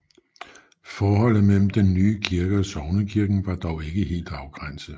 Forholdet mellem den nye kirke og sognekirken var dog ikke helt afgrænset